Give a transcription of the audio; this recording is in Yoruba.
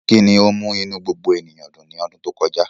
Kí ni ó mú inú gbogbo ènìyàn dùn ní ọdún tó kọjá?